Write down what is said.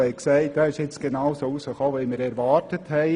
Sie ist genau so ausgefallen, wie wir erwartet haben;